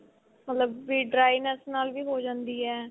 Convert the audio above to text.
ਮਤਲਬ ਵੀ dryness ਨਾਲ ਵੀ ਹੋ ਜਾਂਦੀ ਏ.